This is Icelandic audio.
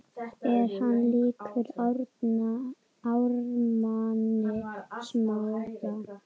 Er hann líkur Ármanni Smára?